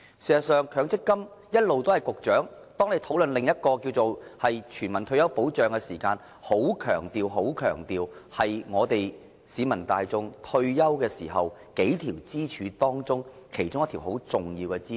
事實上，當大家討論全民退休保障時，局長一直很強調強積金是市民大眾退休保障的數條支柱中，其中很重要的一條支柱。